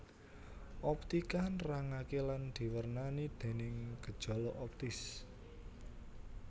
Optika nerangaké lan diwernani déning gejala optis